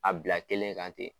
A bila kelen kan ten.